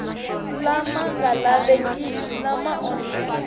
lama nga lavekeki lama onhaka